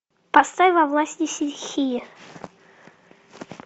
поставь во власти стихии